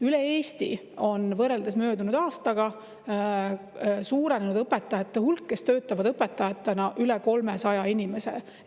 Terves Eestis on võrreldes möödunud aastaga suurenenud õpetaja hulk, kes töötavad õpetajatena, üle 300 inimese võrra.